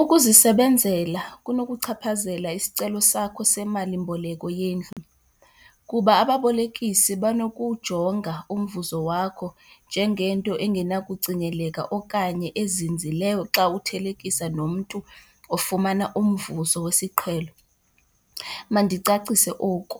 Ukuzisebenzela kunokuchaphazela isicelo sakho semalimboleko yendlu, kuba ababolekisi banokujonga umvuzo wakho njengento engenakucingeleka okanye ezinzileyo xa uthelekisa nomntu ofumana umvuzo wesiqhelo. Mandicacise oku,